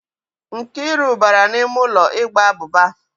Nkiru bara n'ime ulo ịgba abuba.